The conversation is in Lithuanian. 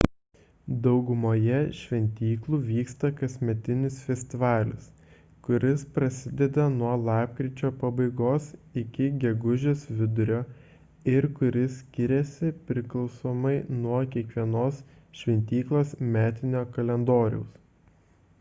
daugumoje šventyklų vyksta kasmetinis festivalis kuris prasideda nuo lapkričio pabaigos iki gegužės vidurio ir kuris skiriasi priklausomai nuo kiekvienos šventyklos metinio kalendoriaus